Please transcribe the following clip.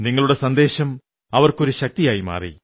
നിങ്ങളുടെ സന്ദേശം അവർക്കൊരു ശക്തിയായി മാറി